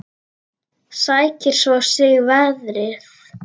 Sækir svo í sig veðrið.